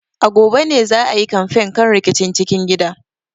A gobe ne za a yi kamfen kan rikicin cikin gida.